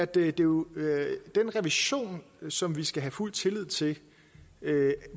det er jo den revision som vi skal have fuld tillid til